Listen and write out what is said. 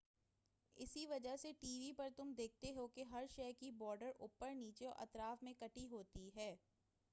اسی وجہ سے ٹی وی پر تم دیکھتے ہو کہ ہر شے کی بارڈر اوپر نیچے اور اطراف میں کٹی ہوتی ہے